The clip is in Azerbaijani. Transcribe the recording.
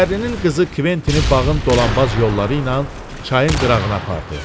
Şəhərlinin qızı Kventini bağın dolanbaz yolları ilə çayın qırağına apardı.